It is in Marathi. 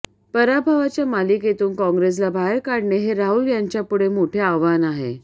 पराभवाच्या मालिकेतून कॉंग्रेसला बाहेर काढणे हे राहुल यांच्यापुढे मोठे आव्हान आहे